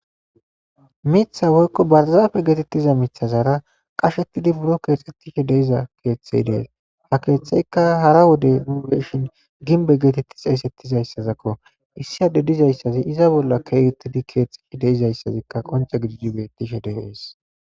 Miththay woyko barzaffe Gettetiza miththazara qashshettidi birron kexettiza de'iza keththay di'es. Ha keththaykka hara wode uu'eshin gimbbe gettettiza dhesetizayssazakko. Issi addezi dizayssazi iza bolla kehettidi kexxetti de'izayssazi qoncce gididi betishe de'es